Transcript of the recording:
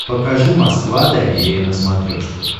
покажи москва доверие на смотрешке